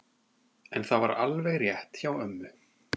En það var alveg rétt hjá ömmu.